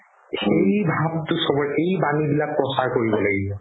সেই ভাবতো চ'বৰে এই বাণি বিলাক প্ৰচাৰ কৰিব লাগিব